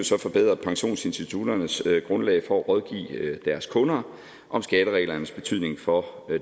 så forbedre pensionsinstitutternes grundlag for at rådgive deres kunder om skattereglernes betydning for